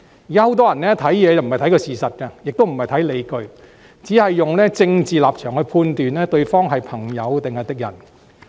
現時很多人在作出判斷時不是看事實，也不考慮理據，只按政治立場判斷對方是朋友還是敵人。